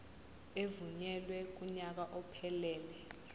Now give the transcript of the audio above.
evunyelwe kunyaka ophelele